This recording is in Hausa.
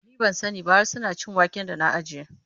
Ni ban sani ba, hara suna cin wake da na ajiye.